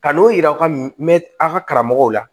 Ka n'o yira aw ka mɛn aw ka karamɔgɔw la